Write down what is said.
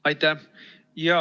Aitäh!